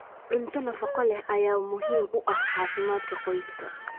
Cunto nafaqo leh ayaa muhiim u ah caafimaadka qoyska.